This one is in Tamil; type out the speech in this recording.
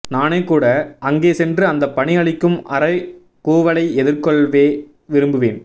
நானே கூட அங்கே சென்று அந்தப்பனி அளிக்கும் அறைகூவலை எதிர்கொள்ளவே விரும்புவேன்